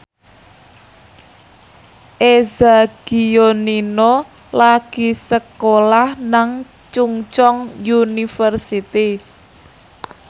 Eza Gionino lagi sekolah nang Chungceong University